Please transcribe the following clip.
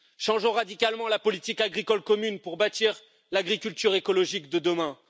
changeons radicalement la politique agricole commune pour bâtir l'agriculture écologique de demain